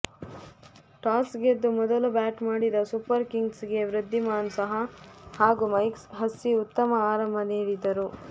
toss ಗೆದ್ದು ಮೊದಲು bat ಮಾಡಿದ ಸೂಪರ್ ಕಿಂಗ್ಸ್ಗೆ ವೃದ್ಧಿಮಾನ್ ಸಹಾ ಹಾಗೂ ಮೈಕ್ ಹಸ್ಸಿ ಉತ್ತಮ ಆರಂಭ ನೀಡಿದರು